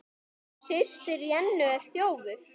Systir Jennu er þjófur.